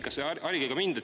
Harige mind!